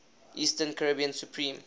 eastern caribbean supreme